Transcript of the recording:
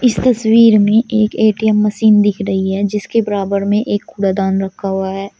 इस तस्वीर में एक ए_टी_एम मशीन दिख रही है जिसके बराबर में एक कूड़ा दान रखा हुआ है।